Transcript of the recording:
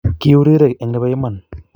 Kiu rirek eng nebo iman